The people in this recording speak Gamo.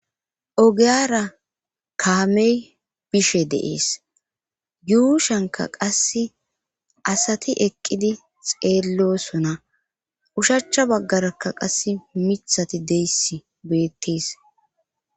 ogiyara kaamey bishe deees yuushanka qasse asati eqqidi xeellosona ushachcha baggarakka qas mithati deyssi beettees